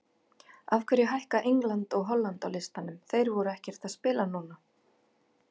Af hverju hækka England og Holland á listanum, þeir voru ekkert að spila núna?